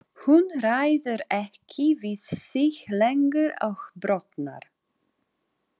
Hún ræður ekki við sig lengur og brotnar.